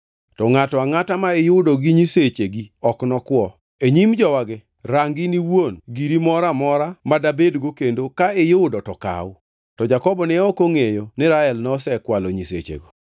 To ngʼato angʼata ma iyudo gi nyisechegi ok nokwo. E nyim jowagi, rang in iwuon giri moro amora madabedgo kendo ka iyudo to kaw.” To Jakobo ne ok ongʼeyo ni Rael nosekwalo nyisechego.